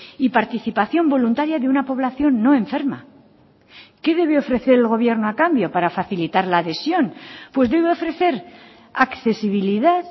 y participación voluntaria de una población no enferma qué debe ofrecer el gobierno a cambio para facilitar la adhesión pues debe ofrecer accesibilidad